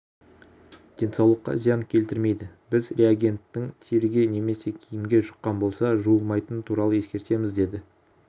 денсаулыққа зиян келтірмейді біз реагенттің теріге немесе киімге жұққан болса жуылмайтыны туралы ескертеміз деді